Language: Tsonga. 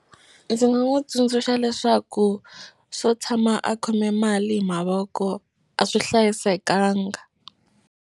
Ndzi nga n'wi tsundzuxa leswaku swo tshama a khome mali hi mavoko a swi hlayisekanga.